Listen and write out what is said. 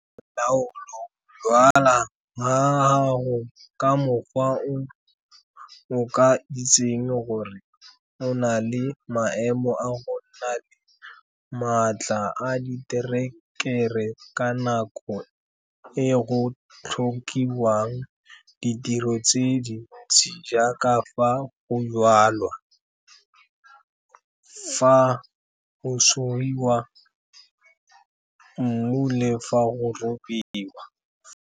Laolo go jwala ga gago ka mokgwa o o ka itseng gore o na le maemo a go nna le maatla a diterekere ka nako e go tlhokiwang ditiro tse dintsi jaaka fa go jwalwa, fa go sugiwa mmu le fa go robiwa.